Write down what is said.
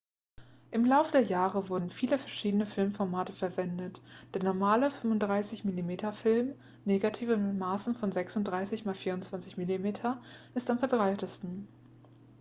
im laufe der jahre wurden viele verschiedene filmformate verwendet. der normale 35-mm-film negative mit maßen von 36 x 24 mm ist am verbreitetsten